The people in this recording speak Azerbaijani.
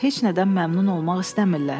Heç nədən məmnun olmaq istəmirlər.